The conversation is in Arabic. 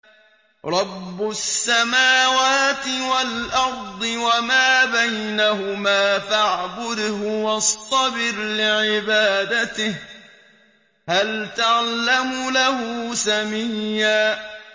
رَّبُّ السَّمَاوَاتِ وَالْأَرْضِ وَمَا بَيْنَهُمَا فَاعْبُدْهُ وَاصْطَبِرْ لِعِبَادَتِهِ ۚ هَلْ تَعْلَمُ لَهُ سَمِيًّا